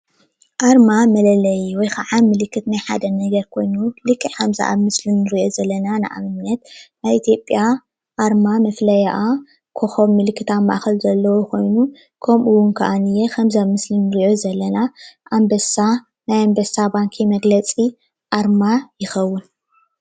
ኣርማ መለለይ ወይ ከዓ ናይ ሓደ ምልክት ኮይኑ ልክዕ ከምዚ ኣብ ምስሊ እንሪኦ ዘለና ንኣብነት ናይ ኢትዮጵያ ኣርማ መፍለይኣ ኮኮብ ምልክት ኣብ ማእከል ዘለዎ ኮይኑ ኮኮብ እውን ከዓ ከምዚ ኣብ ምስሊ እንሪኦ ዘለና ኣንበሳ ናይ ኣንበሳ መግለፂ ኣርማ ይከውን ፡፡